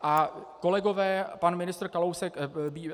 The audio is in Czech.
A kolegové, pan ministr Kalousek...